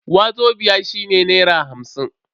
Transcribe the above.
Wazobia shine naira hamsin.